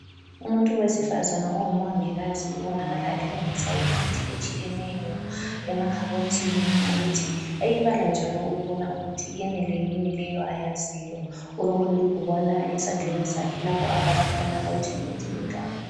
Umuntu wesifazana ongumongikazi ubonakala elungisa imithi etshiyeneyo emakhabothini ukuthi eyibala njalo ukubona ukuthi yenele yini leyo ayaziyo. Ulokulibhukwana esandleni sakhe lapho abhala khona ukuthi imithi mingaki.